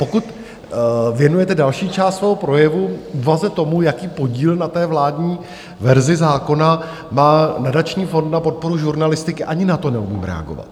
Pokud věnujete další část svého projevu úvaze, tomu, jaký podíl na té vládní verzi zákona má nadační fond na podporu žurnalistiky, ani na to neumím reagovat.